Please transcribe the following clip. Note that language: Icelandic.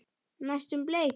Næstum bleik.